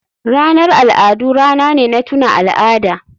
Ranar al'adu rana ne na tuna al'ada.